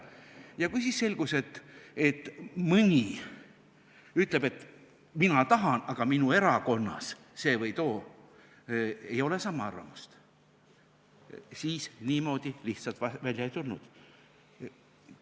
Ja kui selgus, et mõni ütles, et tema tahab, aga tema erakonnas see või too ei ole samal arvamusel, siis niimoodi lihtsalt välja ei tulnud.